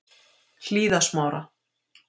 Hlíðasmára